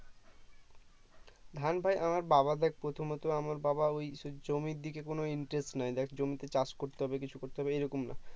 ধান ভাই আমার বাবা দেখ প্রথমত আমার বাবা ওই তোর জমির দিকে কোনো interest নাই দেখ জমিতে চাষ করতে হবে কিছু করতে হবে এইরকম না